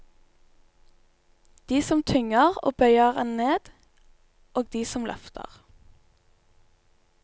De som tynger og bøyer en ned, og de som løfter.